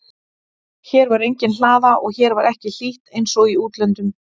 En hér var engin hlaða og hér var ekki hlýtt einsog í útlöndum.